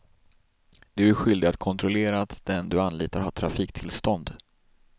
Du är skyldig att kontrollera att den du anlitar har trafiktillstånd.